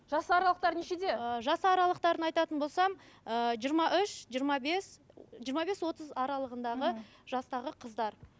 жас аралықтары нешеде ыыы жас аралықтарын айтатын болсам ыыы жиырма үш жиырма бес жиырма бес отыз аралығындағы мхм жастағы қыздар